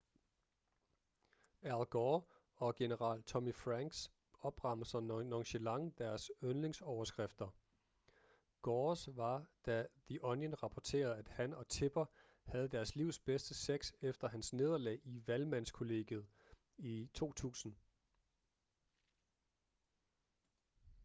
al gore og general tommy franks opremser nonchalant deres yndlingsoverskrifter gores var da the onion rapporterede at han og tipper havde deres livs bedste sex efter hans nederlag i valgmandskollegiet i 2000